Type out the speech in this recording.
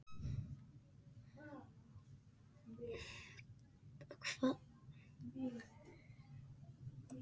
Björn: Er það ekki mun meira en nokkur bjóst við?